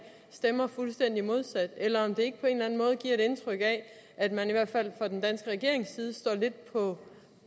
stemmer fuldstændig modsat eller om det ikke på en eller anden måde giver et indtryk af at man i hvert fald fra den danske regerings side står lidt